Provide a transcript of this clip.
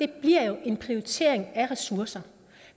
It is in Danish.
bliver jo en prioritering af ressourcer